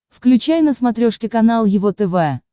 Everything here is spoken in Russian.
включай на смотрешке канал его тв